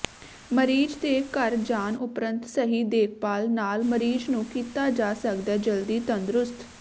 ਮਰੀਜ਼ ਦੇ ਘਰ ਜਾਣ ਉਪਰੰਤ ਸਹੀ ਦੇਖਭਾਲ ਨਾਲ ਮਰੀਜ਼ ਨੂੰ ਕੀਤਾ ਜਾ ਸਕਦੈ ਜਲਦੀ ਤੰਦਰੁਸਤ